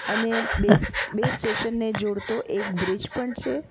અને બે સ્ટ સ્ટેશન ને જોડતો એક બ્રિજ પણ છે.